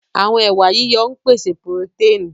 Àwọn ẹwà yíyan ń pèsè purotẹ́ẹ̀nì